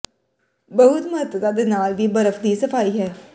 ਬਹੁਤ ਮਹੱਤਤਾ ਦੇ ਨਾਲ ਵੀ ਬਰਫ ਦੀ ਸਫਾਈ ਹੈ